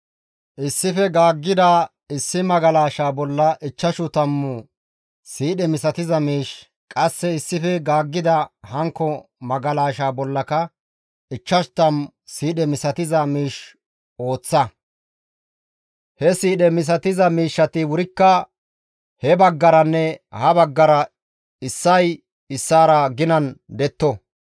Issife gaaggida issi magalashaa bolla ichchashu tammu siidhe misatiza miish, qasse issife gaaggida hankko magalashaa bollaka ichchash tammu siidhe misatiza miish ooththa; he siidhe misatiza miishshati wurikka he baggaranne ha baggara issay issaara ginan detto.